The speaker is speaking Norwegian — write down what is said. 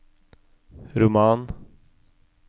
roman